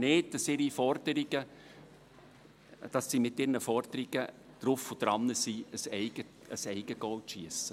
Sie realisieren dabei nicht, dass sie mit ihren Forderungen ein Eigengoal riskieren.